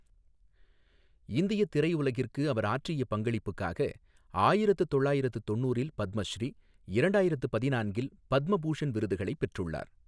இந்தியத் திரையுலகிற்கு அவர் ஆற்றிய பங்களிப்புக்காக ஆயிரத்து தொள்ளாயிரத்து தொண்ணூறில் பத்மஸ்ரீ, இரண்டாயிரத்து பதினான்கில் பத்ம பூஷண் விருதுகளை பெற்றுள்ளார்.